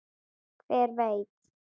Hver veit.